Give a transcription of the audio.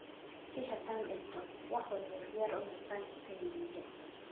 "Si haddii aan dhinto, wax walba diyaar u noqon doonaan," ayuu yidhi.